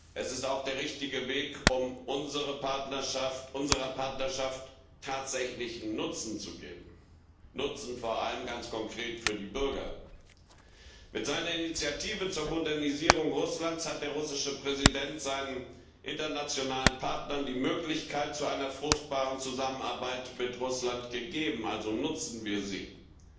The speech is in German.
Es ist auch der richtige Weg, um unserer Partnerschaft tatsächlichen Nutzen zu geben. Nutzen vor allem ganz konkret für die Bürger. Mit seiner Initiative zur Modernisierung Russlands hat der russische Präsident seinen internationalen Partnern die Möglichkeit zu einer fruchtbaren Zusammenarbeit mit Russland gegeben. Also nutzen wir sie auch!